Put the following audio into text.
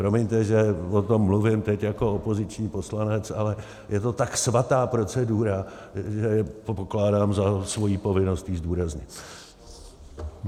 Promiňte, že o tom mluvím teď jako opoziční poslanec, ale je to tak svatá procedura, že pokládám za svoji povinnosti ji zdůraznit.